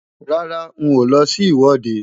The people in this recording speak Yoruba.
Rárá, n ò lọ sí ìwọ́de.